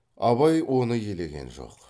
абай оны елеген жоқ